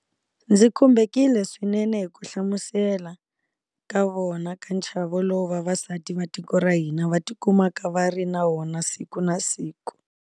Ndzi khumbekile swinene hi ku hlamusela ka vona ka nchavo lowu vavasati va tiko ra hina va tikumaka va ri na wona siku na siku.